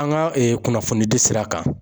An ka kunnafoni di sira kan.